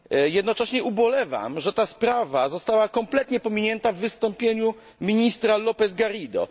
Jednocześnie ubolewam, że ta sprawa została kompletnie pominięta w wystąpieniu ministra Lópeza Garrido.